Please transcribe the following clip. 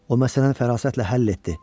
O məsələni fərasətlə həll etdi.